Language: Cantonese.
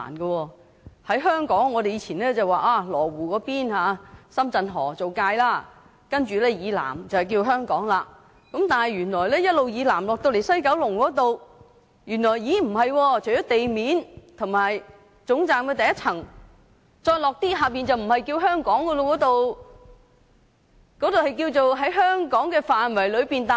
在香港，我們過往以羅湖的深圳河為界線，深圳河以南為香港，但原來一直南下到了西九龍站，除了地面及總站的第一層外，下面的部分便不叫做香港了。